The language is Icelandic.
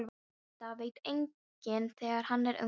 En þetta veit enginn þegar hann er ungur.